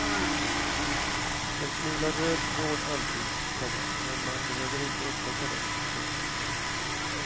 En smula röd tråd antyds, komma men man behöver inte upptäcka den. punkt